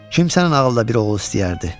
Kimsən ağılda bir oğul istəyərdi.